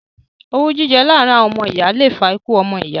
Owú jíjẹ láàrin ọmọ ìyá le fa ikú ọmọ iya